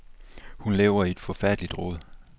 Hun lever i et forfærdeligt rod.